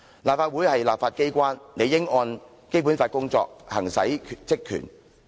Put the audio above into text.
立法會是立法機關，理應按《基本法》工作，行使職權。